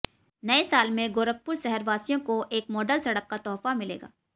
नए साल में गोरखपुर शहरवासियों को एक मॉडल सड़क का तोहफा मिलेगा